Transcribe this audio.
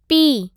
P